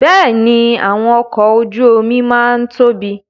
Bẹ́ẹ̀ni, àwọn ọkọ ojú omi máa ń tóbi